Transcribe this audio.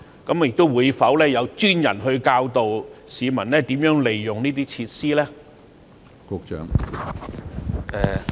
政府會否派專人教導市民如何使用這些設施呢？